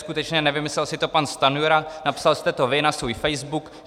Skutečně nevymyslel si to pan Stanjura, napsal jste to vy na svůj Facebook.